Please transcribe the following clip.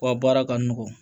Wa baara ka nɔgɔn